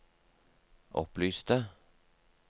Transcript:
opplyste